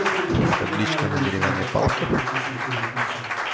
табличка на деревянной палке